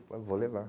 eu vou levar.